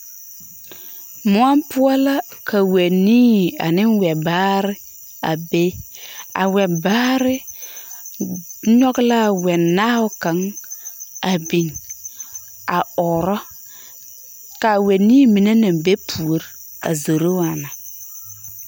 Mõͻ poͻ la ka wԑnii ane wԑbaare a be. A wԑbaare nyͻge la a wԑnaao kaŋa a biŋ, a ͻͻrͻ. ka a wԑnii mine naŋ be puori a zoro waana.